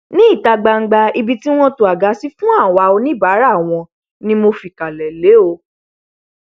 ní ìta gbangba ibi wọn to àga sí fún àwa oníbàárà wọn ni mo fìkàlẹ lé o